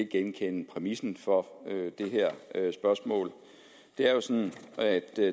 genkende præmissen for det her spørgsmål det er jo sådan at